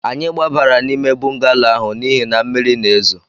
Anyị gbabara n'ime bọngalo ahụ n'ihi na mmiri na-ezo